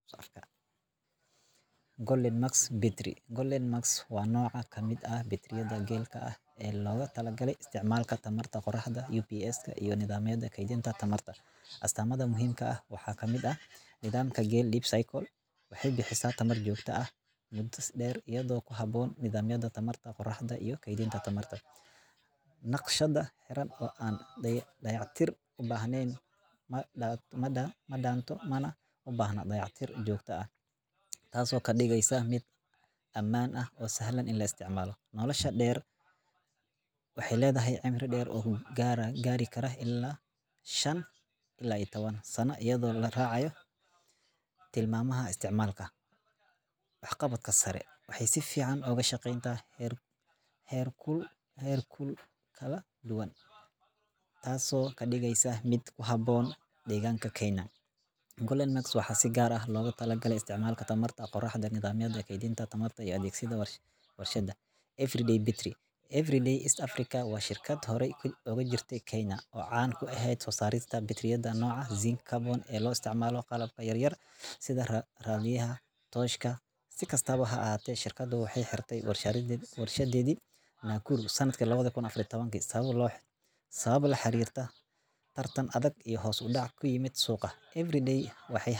Golden maks Betrry golden mask wa noca miid aah batriyada gel ka aah o logatalagalay isticmalaka tamarta Qoraxda iyo peska iyo nadhamyada keydinta tamarta asatamda muhimka ah waxa kamid ah nidhamka Gel deep circle waxay bixiisa tamar jogta ah mudo dher iyado kuhaboon nidhamyada tamarta qoraxda iyo keydinta tamarta. Naqshada xeran o aan dayac tir ubahneen madaanto mana ubaahna dayac tir jogta ah, Taaso kadigeysa si amaan o sahlan lo isticmala nolasha dher waxay ledahay cimri dher garikara ila shan ila ii taban sana iyado laracayo tilamamaha isticmalka wax qabadka sare waxay sificaan ugu shaqeyn karan heer ku kala duwan tas kadigeysa mid kuhabon deganka Kenya. Golden mask waxa si gar aah lo talagalay isticmalka tamarta qoraxda nidhamyada keydinta tamarta iyo adegsiga warshada Everday Betrry Everday East Africa wa shirkad horay ugujirta Kenya o caan ku eheed sosarista Betriyada noca Zing carbon o lo isticmalo qalab yar yar sida Radiyaha, Tooshka sida kastaba haahate shirkada waxay xertay warshadedi Naikuru sanadki laba kuun afariyo taban sabab laxarirta tartan adag iyo hos udaac kuiimad suuqa Everday waxay.